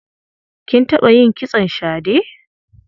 Kin taɓa yin kitson shade?